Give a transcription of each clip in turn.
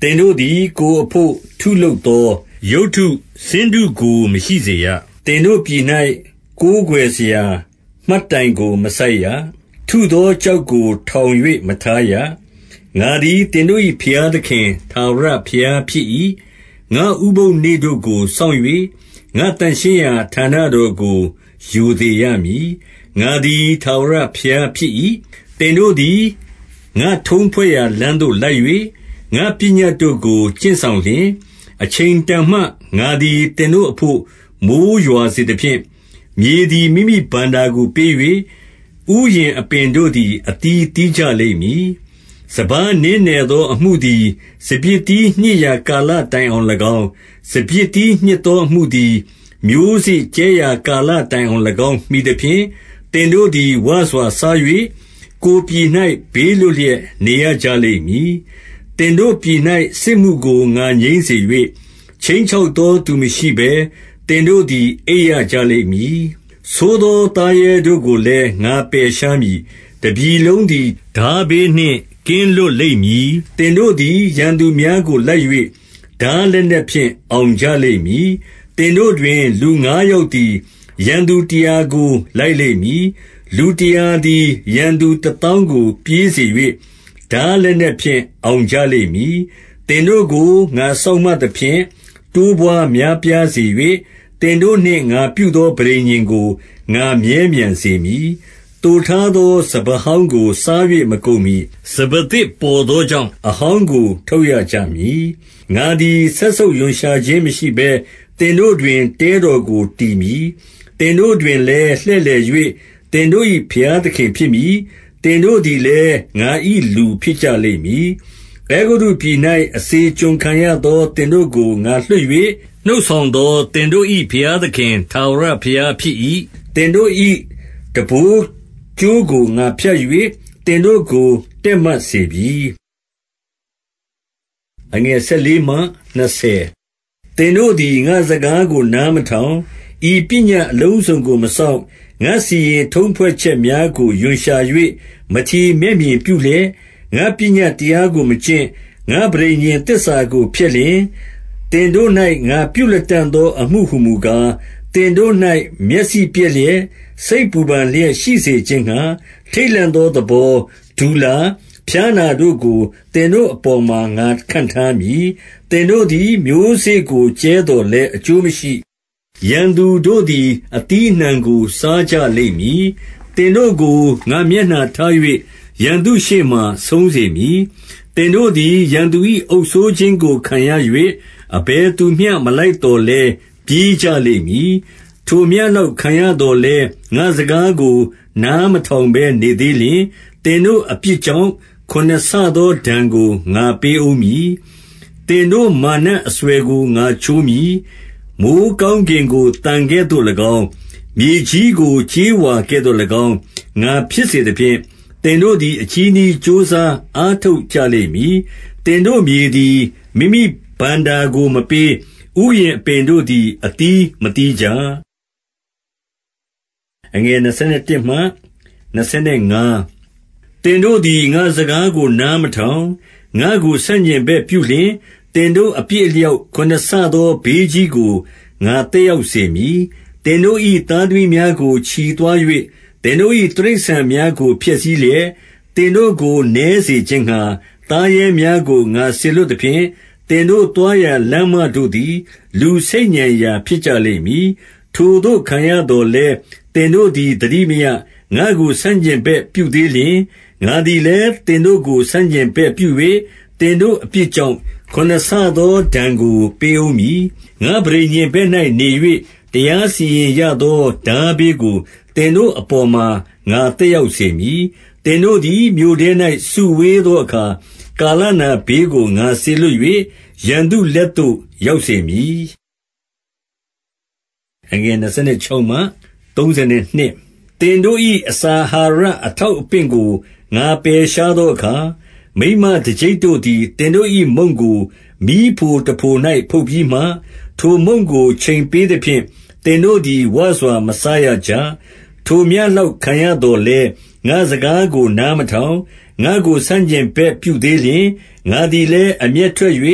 သင်တို့သည် ကိုယ်အဘို့ ထုလုပ်သော ရုပ်တုဆင်းတုကို မရှိစေရ။ သင်တို့ပြည်၌ ကိုးကွယ်စရာ မှတ်တိုင်ကို မစိုက်ရ။ ထုသောကျောက်ကို ထောင်၍မထားရ။ ငါသည် သင်တို့၏ ဘုရားသခင် ထာဝရဘုရား ဖြစ်၏။ 2 ငါ့ဥပုသ်နေ့တို့ကိုစောင့်၍၊ ငါ့သန့်ရှင်းရာဌာနတော်ကို ရိုသေရမည်။ ငါသည် ထာဝရဘုရားဖြစ်၏။ 3 သင်တို့သည်၊ ငါ့ထုံးဖွဲ့ရာလိမ်းသို့လိုက်၍၊ ငါပညတ်တို့ကို ကျင့်စောင့်လျှင်၊- 4 အချိန်တန်မှ ငါသည် သင်တို့အဘို့ မိုဃ်းရွာစေသဖြင့်၊ မြေသည် မိမိဘဏ္ဍာကိုပေး၍၊ ဥယျာဉ်အပင် တို့သည် အသီးသီးကြလိမ့်မည်။ 5 စပါးနင်းနယ်သော အမှုသည်၊ စပျစ်သီးညှစ်ရာ ကာလတိုင်အောင်၎င်း၊ စပျစ်သီးညှစ်သောအမှုသည်၊ မျိုးစေ့ကြဲရာ ကာလတိုင်အောင်၎င်း မှီသဖြင့်၊ သင်တို့သည် ဝစွာစား၍၊ ကိုယ်ပြည်၌ ဘေးလွတ်လျက် နေရကြလိမ့်မည်။ 6 သင်တို့ပြည်၌ စစ်မှုကို ငါငြိမ်းစေ၍၊ ခြိမ်းချောက်သောသူ မရှိဘဲ သင်တို့သည် အိပ်ရကြလိမ့်မည်။ ဆိုးသော သားရဲတို့ကိုလည်း ငါပယ်ရှားမည်။ တပြည်လုံးသည် ထားဘေးနှင့် ကင်းလွတ်လိမ့်မည်။ 7 သင်တို့သည် ရန်သူများကို လိုက်၍ ထားလက်နက်ဖြင့် အောင်ကြလိမ့်မည်။ 8 သင်တို့တွင် လူငါးယောက်သည် ရန်သူတရားကို လိုက်လိမ့်မည်။ လူတရာသည် ရန်သူတသောင်းကို ပြေးစေ၍ ထားလက်နက်ဖြင့် အောင်ကြလိမ့်မည်။ 9 သင်တို့ကို ငါစောင့်မသဖြင့် တိုးပွားများပြားစေ၍၊ သင်တို့နှင့် ငါပြုသော ပဋိညာဉ်ကို ငါမြဲမြံစေမည်။ 10 သိုထားသော စပါးဟောင်းကို စား၍ မကုန်မှီ၊ စပါးသစ်ပေါ်သောကြောင့်၊ အဟောင်းကို ထုတ်ရကြ မည်။ 11 ငါသည် စက်ဆုပ်ရွံရှာခြင်းမရှိဘဲ သင်တို့တွင် တဲတော်ကို တည်မည်။ 12 သင်တို့တွင်လည်း လှည့်လည်၍ သင်တို့၏ ဘုရားသခင်ဖြစ်မည်။ သင်တို့သည်လည်း ငါ၏ လူဖြစ်ကြလိမ့်မည်။ 13 အဲဂုတ္တုပြည်၌ အစေကျွန်ခံရသော သင်တို့ကို ငါလွှတ်၍ နှုတ်ဆောင်သော သင်တို့၏ ဘုရားသခင် ထာဝရဘုရားဖြစ်၏။ သင်တို့၏ ထမ်းဘိုးကြိုးကို ငါဖြတ်၍ သင်တို့ကို တည့်မတ်စေပြီ။ 14 သင်တို့သည် ငါ့စကားကို နားမထောင်၊ ဤပညတ်အလုံးစုံကို မစောင့်၊- 15 ငါ့စီရင်ထုံးဖွဲ့ချက်များကို ရွံရှာ၍၊ မထီမဲ့မြင်ပြုလျက်၊ ငါ့ပညတ်တရားကိုမကျင့်၊ ငါ့ပဋိညာဉ်သစ္စာကို ဖျက်လျှင်၊- 16 သင်တို့၌ ငါပြုလတံ့သောအမှုဟူမူကား၊ သင်တို့၌ မျက်စိပျက်လျက်၊ စိတ်ပူပန်လျက် ရှိစေခြင်းငှါ၊ ထိတ်လန့်သော သဘော၊ တူလာ၊ ဖျားနာတို့ကို သင်တို့အပေါ်မှာ ငါခန့်ထားမည်။ သင်တို့သည် မျိုးစေ့ကို ကြဲသော်လည်း အကျိုးမရှိ။ ရန်သူတို့သည် အသီးအနှံကို စားကြလိမ့်မည်။ 17 သင်တို့ကို ငါ မျက်နှာထား၍၊ ရန်သူရှေ့မှာ ဆုံးစေမည်။ သင်တို့သည် ရန်သူ၏ အုပ်စိုးခြင်းကို ခံရ၍၊ အဘယ်သူမျှ မလိုက်သော်လည်း၊ ပြေးကြလိမ့်မည်။ 18 ထိုမျှလောက် ခံရသော်လည်း၊ ငါ့စကားကို နားမထောင်ဘဲ နေသေးလျှင်၊ သင်တို့အပြစ်ကြောင့် ခုနစ်ဆသော ဒဏ်ကို ငါပေးဦးမည်။ 19 သင်တို့ မာနအစွယ်ကို ငါချိုးမည်။ မိုဃ်းကောင်းကင်ကို သံကဲ့သို့၎င်း၊ မြေကြီးကို ကြေးဝါကဲ့သို့၎င်း၊ ငါဖြစ်စေသဖြင့်၊ 20 သင်တို့သည် အချည်းနှီး ကြိုးစားအားထုတ်ကြလိမ့်မည်။ သင်တို့မြေသည် မိမိဘဏ္ဍာကို မပေး။ ဥယျာဉ်အပင်တို့သည် အသီးမသီးကြ။ 21 သင်တို့သည် ငါ့စကားကို နားမထောင်၊ ငါ့ကို ဆန့်ကျင်ဘက်ပြုလျှင်၊ သင်တို့အပြစ်အလျောက် ခုနစ်ဆ သောဘေးကြီးကို ငါသက်ရောက်စေမည်။ 22 သင်တို့၏ သားသမီးများကို ချီသွား၍၊ သင်တို့၏ တိရစ္ဆာန်များကို ဖျက်ဆီးလျက်၊ သင်တို့ကို နည်းစေခြင်း ငှါ၊ သားရဲများကို ငါစေလွှတ်သဖြင့်၊ သင်တို့သွားရာ လမ်းမတို့သည် လူဆိတ်ညံရာ ဖြစ်ကြလိမ့်မည်။ 23 ထိုသို့ ခံရသော်လည်း၊ သင်တို့သည် သတိမရ၊ ငါ့ကို ဆန့်ကျင်ဘက် ပြုသေးလျှင်၊- 24 ငါသည်လည်း သင်တို့ကို ဆန့်ကျင်ဘက်ပြု၍၊ သင်တို့အပြစ်ကြောင့် ခုနစ်ဆသော ဒဏ်ကို ပေးဦးမည်။ 25 ငါ့ပဋိညာဉ်ဘက်၌ နေ၍၊ တရားစီရင်ရသော ထားဘေးကိုသင်တို့အပေါ်မှာ ငါသက်ရောက်စေမည်။ သင်တို့သည် မြို့ထဲ၌၊ စုဝေးသောအခါ၊ ကာလနာဘေးကို ငါစေလွတ်၍၊ ရန်သူလက်သို့ ရောက်စေမည်။ 26 သင်တို့၏ အစာအာဟာရ အထောက်အပင့်ကို ငါ ပယ်ရှားသောအခါ၊ မိန်းမတကျိပ်တို့သည် သင်တို့၏ မုန့်ကို မီးဖိုတဖို၌ ဖုတ်ပြီးမှ၊ ထိုမုန့်ကို ချိန်ပေးသဖြင့် သင်တို့သည် ဝစွာမစားရကြ။ 27 ထိုမျှလောက် ခံရသော်လည်း၊ ငါ့စကားကို နားထောင်၊ ငါ့ကို ဆန့်ကျင်ဘက် ပြုသေးလျှင်၊- 28 ငါသည်လည်း အမျက်ထွက်၍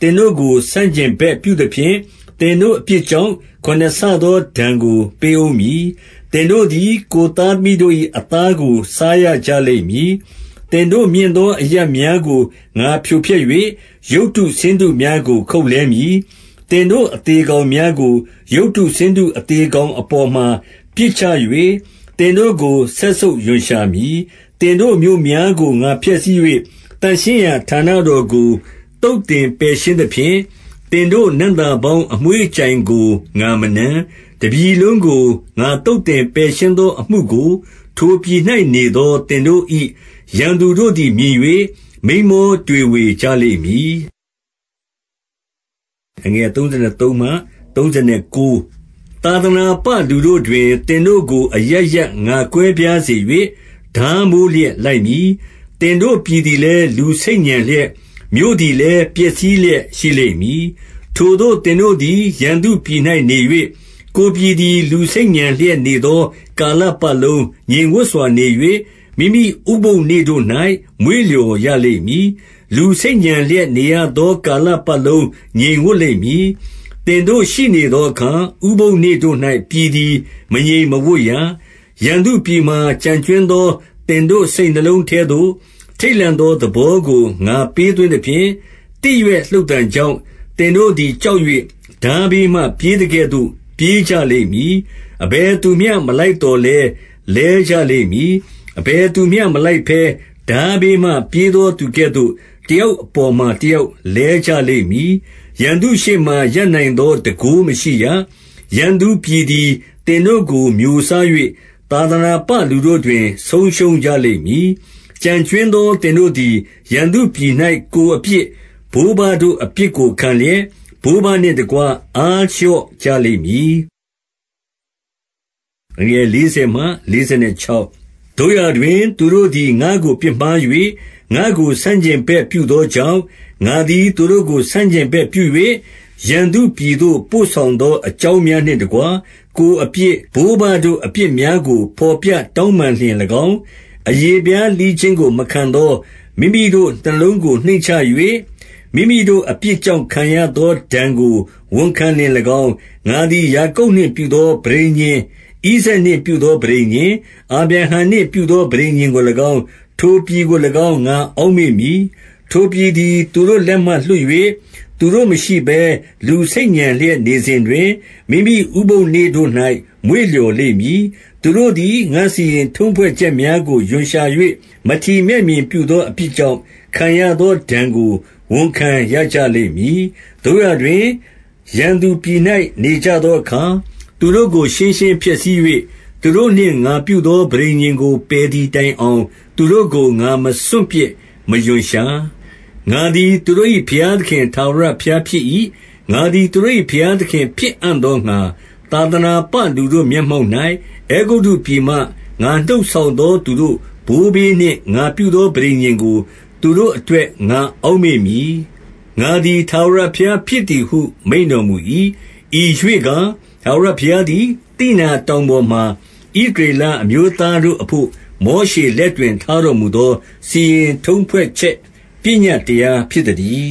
သင်တို့ကို ဆန့်ကျင်ဘက်ပြုသဖြင့်၊ သင်တို့အပြစ်ကြောင့် ခုနစ်ဆ သော ဒဏ်ကို ပေးဦးမည်။- 29 သင်တို့သည် ကိုယ်သားသမီးတို့၏ အသားကို စားရကြလိမ့်မည်။ 30 သင်တို့မြင့်သော အရပ်များကို ငါဖြိုဖျက်၍၊ ရုပ်တုဆင်းတုများကို ခုတ်လှဲမည်။ သင်တို့ အသေကောင် များကို၊ ရုပ်တုဆင်းတု အသေကောင်အပေါ်မှာ ပစ်ချ၍၊ သင်တို့ကို စက်ဆုပ်ရွံရှာမည်။ 31 သင်တို့မြို့များကို ငါဖျက်ဆီး၍၊ သန့်ရှင်းရာဌာနတော်ကို သုတ်သင်ပယ်ရှင်းသဖြင့်၊ သင်တို့ နံ့သာ ပေါင်း အမွှေးအကြိုင်ကို ငါမနမ်း။ 32 တပြည်လုံးကို ငါသုတ်သင် ပယ်ရှင်းသော အမှုကို၊ ထိုပြည်၌နေသော သင်တို့၏ ရန်သူတို့သည် မြင်၍ မိန်းမောတွေဝေကြလိမ့်မည်။ 33 သာသနာပလူတို့တွင် သင်တို့ကို အရပ်ရပ် ငါကွဲပြားစေ၍၊ ထားမိုးလျက် လိုက်မည်။ သင်တို့ပြည် သည်လည်း လူဆိတ်ညံလျက်၊ မြို့သည်လည်း ပျက်စီးလျက်ရှိလိမ့်မည်။ 34 ထိုသို့ သင်တို့သည် ရန်သူပြည်၌နေ၍၊ ကိုယ်ပြည်သည် လူဆိတ်ညံလျက်နေသော ကာလပတ်လုံး ငြိမ်ဝပ်စွာနေ၍၊ မိမိဥပုသ်နေ့တို့၌ မွေ့လျော်ရလိမ့်မည်။ 35 လူဆိတ်ညံလျက်နေရသော ကာလပတ်လုံး ငြိမ်ဝပ်လိမ့်မည်။ သင်တို့ရှိနေသောအခါ၊ ဥပုသ်နေ့တို့၌ ပြည်ည် မငြိမ်မဝပ်ရ။ 36 ရန်သူပြည်မှာ ကျန်ကြွင်းသော သင်တို့ စိတ်နှလုံးထဲသို့၊ ထိတ်လန့်သော သဘောကို ငါပေးသွင်းသဖြင့်၊ သစ်ရွက်လှုပ်သံကြောင့် သင်တို့သည် ကြောက်၍၊ ထားဘေးမှ ပြေးသကဲ့သို့ ပြေးကြလိမ့်မည်။ အဘယ် သူမျှ မလိုက်သော်လည်း လဲကြလိမ့်မည်။ 37 အဘယ်သူမျှမလိုက်ဘဲ ထားဘေးမှ ပြေးသောသူကဲ့သို့ တယောက်အပေါ်မှာ တယောက်လဲကြလိမ့် မည်။ ရန်သူရှေ့မှာ ရပ်နိုင်သော တန်ခိုးမရှိရ။ 38 ရန်သူပြည်သည် သင်တို့ကို မျိုးစား၍၊ သာသနာပလူတို့တွင် ဆုံးရှုံးကြလိမ့်မည်။ 39 ကျန်ကြွင်းသော သင်တို့သည်၊ ရန်သူပြည်၌ ကိုယ်အပြစ်၊ ဘိုးဘတို့အပြစ်ကို ခံလျက်၊ ဘိုးဘနှင့်တကွ အားလျော့ကြလိမ့်မည်။ 40 သို့ရာတွင် သူတို့သည် ငါ့ကို ပြစ်မှား၍၊ ငါ့ကို ဆန့်ကျင်ဘက်ပြုသောကြောင့်၊- 41 ငါသည် သူတို့ကို ဆန့်ကျင်ဘက်ပြု၍ ရန်သူပြည်သို့ ပို့ဆောင်သော အကြောင်းများနှင့်တကွ၊ ကိုယ် အပြစ်၊ ဘိုးတတို့ အပြစ်များကို ဘော်ပြတောင်းပန်လျှင်၎င်း၊ အရေဖျားလှီးခြင်းကို မခံသော မိမိတို့ နှလုံးကို နှိမ့်ချ၍၊ မိမိတို့အပြစ်ကြောင့် ခံရသောဒဏ်ကို ဝန်ခံလျှင်၎င်း၊- 42 ငါသည် ယာကုပ်နှင့်ပြုသော ပဋိညာဉ်၊ ဣဇာက်နှင့်ပြုသော ပဋိညာဉ်၊ အာဗြတံနှင့်ပြုသော ပဋိညာဉ်ကို ၎င်း၊ ထိုပြည်ကို၎င်း ငါအောက်မေ့မည်။ 43 ထိုပြည်သည် သူတို့ လက်မှလွတ်၍၊ သူတို့မရှိဘဲ လူဆိတ်ညံလျက်နေစဉ်တွင် မိမိဥပုသ်နေ့တို့၌ မွေ့လျော်လိမ့်မည်။ သူတို့သည် ငါ့စီရင်ထုံးဖွဲ့ချက်များကို ရွံရှာ၍ မထီမဲ့မြင် ပြုသောအပြစ်ကြောင့်၊ ခံရသောဒဏ်ကို ဝန်ခံရကြလိမ့်မည်။ 44 သို့ရာတွင် ရန်သူပြည်၌ နေကြသောအခါ၊ သူတို့ကို ရှင်းရှင်းဖျက်ဆီး၍၊ သူတို့နှင့်ငါပြုသော ပဋိညာဉ်ကို ပယ်သည်တိုင်အောင် သူတို့ကို ငါမစွန့်ပစ် မရွံရှာ။ ငါသည် သူတို့၏ ဘုရားခင်ထာဝရဘုရား ဖြစ်၏။ 45 ငါသည် သူတို့၏ ဘုရားသခင် ဖြစ်အံ့သောငှါ သာသနာပလူတို့ မျက်မှောက်၌၊ အဲဂုတ္တုပြည်မှ ငါနှုတ်ဆောင်သော သူတို့ဘိုးဘေးနှင့် ငါပြုသော ပဋိညာဉ်ကို သူတို့အတွက် ငါအောက်မေ့မည်၊ ငါသည် ထာဝရဘုရားဖြစ်သည်ဟု မိန့်တော်မူ၏။ 46 ဤရွေ့ကား ထာဝရဘုရားသည်၊ သိနာတောင်ပေါ်မှာ ဣသရေလအမျိုးသားတို့အဘို့ မောရှေလက် တွင် ထားတော်မူသော စီရင်ထုံးဖွဲ့ချက် ပညတ်တရား ဖြစ်သတည်